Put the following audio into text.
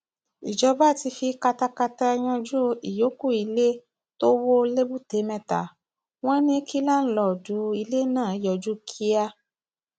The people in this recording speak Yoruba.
ìjọba ti fi katakata yanjú ìyókù ilé tó wọ lẹbùtémetta wọn ní kí láńlọọdù ilé náà yọjú kíá